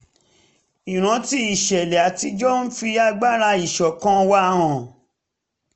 ìrántí ìṣẹ̀lẹ̀ àtijọ́ ń fi agbára ìṣọ̀kan wa hàn